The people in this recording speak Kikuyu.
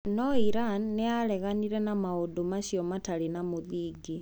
Noo Iran niyareganire na maundũ macio matari na muthingi.